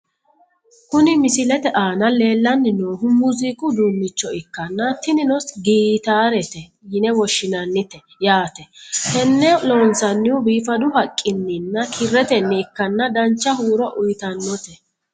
Kuni misilete aana leellanni noohu muuziiqu uduunnicho ikkanna, tinino gitaarete yine woshshinannite yaate, tenne loonsannihu biifadu haqqininna kirretenni ikkanna dancha huuro uyiitannote.